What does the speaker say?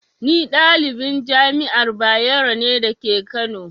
Ni ɗalibin Jami'ar Bayero ne dake kano